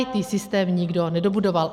IT systém nikdo nedobudoval.